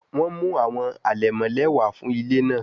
Wọn mu awọn alẹmọ lẹwa fun ile naa